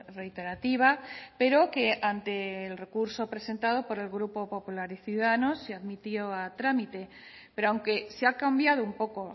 reiterativa pero que ante el recurso presentado por el grupo popular y ciudadanos se admitió a trámite pero aunque se ha cambiado un poco